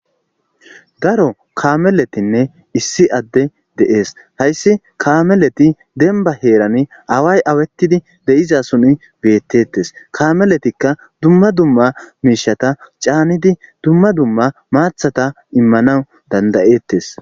Daro kaameletinne issi adde de'es hayssi kaameleti denba heerani away awettidi de7iza suni beettettes kaameletikka dumma dumma miishata caanidi dumma dumma maathata immanawu dandayettes.